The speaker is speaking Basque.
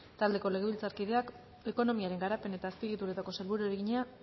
taldeko legebiltzarkideak ekonomiaren garapen eta azpiegituretako sailburuari egina